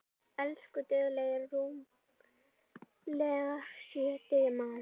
Elsku duglegi rúmlega sjötugi maður.